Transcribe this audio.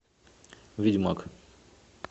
ведьмак